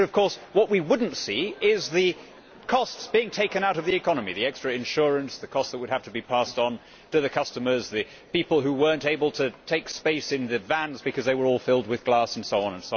But of course, what we would not see are the costs being taken out of the economy the extra insurance, the costs that would have to be passed to the customers, the people who were not able to take space in the vans because they were all filled with glass, and so on.